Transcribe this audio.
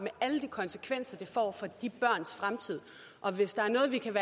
alle de konsekvenser det får for de børns fremtid og hvis der er noget vi kan